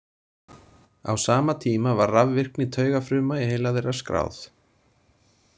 Á sama tíma var rafvirkni taugafruma í heila þeirra skráð.